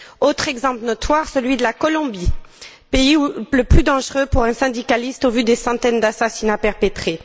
Autre exemple notoire, celui de la Colombie, pays le plus dangereux pour un syndicaliste au vu des centaines d'assassinats perpétrés.